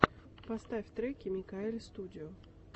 поставь треки микаэльстудио